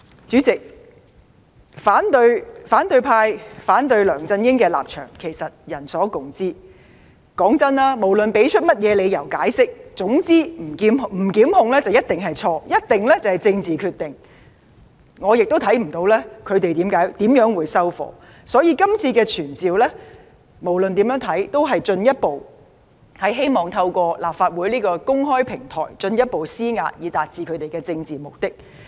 主席，其實反對派對梁振英的反對立場人所共知，無論提出任何理由解釋，總之不提檢控便一定是錯、一定是政治決定，我亦看不到他們怎樣才會"收貨"，所以，今次的傳召無論怎樣看也不過是希望透過立法會的公開平台，進一步施壓以達致他們的政治目的。